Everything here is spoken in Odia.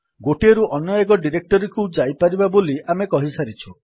ଗୋଟିଏ ରୁ ଅନ୍ୟଏକ ଡିରେକ୍ଟୋରୀକୁ ଯାଇପାରିବା ବୋଲି ଆମେ କହିସାରିଛୁ